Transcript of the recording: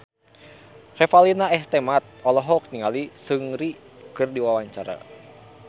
Revalina S. Temat olohok ningali Seungri keur diwawancara